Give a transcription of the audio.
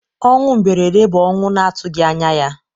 Ọnwụ mberede bụ ọnwụ na-atụghị anya ya.